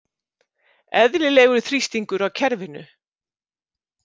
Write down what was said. Eðlilegur þrýstingur á kerfinu